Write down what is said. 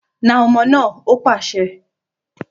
Nà omo naa!, ó pàṣẹ